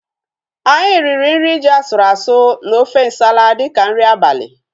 Anyị riri nri ji asụrụ asụ na ofe nsala dịka nri abalị